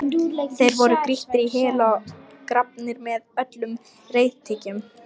Þeir voru grýttir í hel og grafnir með öllum reiðtygjum.